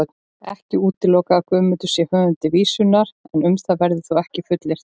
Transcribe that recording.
Ekki er útilokað að Guðmundur sé höfundur vísunnar, en um það verður þó ekkert fullyrt.